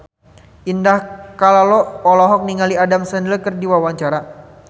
Indah Kalalo olohok ningali Adam Sandler keur diwawancara